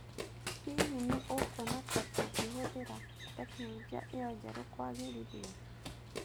Hihi nĩ ũkuona ta tũngĩhũthĩra tekinolonjĩ ĩyo njerũ kwagĩrĩthĩa